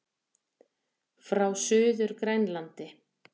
Frá Suður-Grænlandi.